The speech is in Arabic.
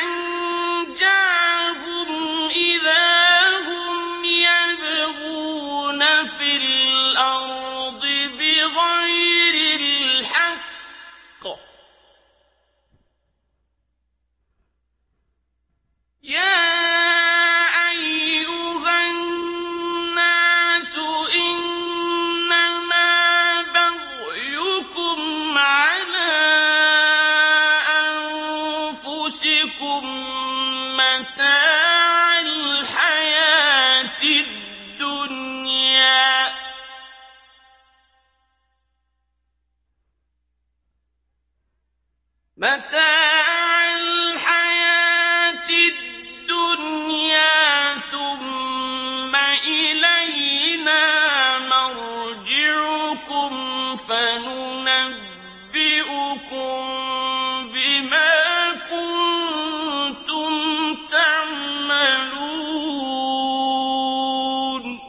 أَنجَاهُمْ إِذَا هُمْ يَبْغُونَ فِي الْأَرْضِ بِغَيْرِ الْحَقِّ ۗ يَا أَيُّهَا النَّاسُ إِنَّمَا بَغْيُكُمْ عَلَىٰ أَنفُسِكُم ۖ مَّتَاعَ الْحَيَاةِ الدُّنْيَا ۖ ثُمَّ إِلَيْنَا مَرْجِعُكُمْ فَنُنَبِّئُكُم بِمَا كُنتُمْ تَعْمَلُونَ